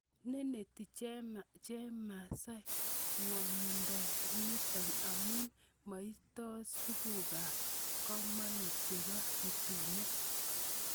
Neneti chemasai ingwondoniton amun moitos tukukab komonut chebo rutunet.